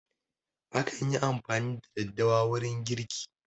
Akan yi amfani da daddawa wurin girki